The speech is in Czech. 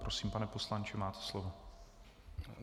Prosím, pane poslanče, máte slovo.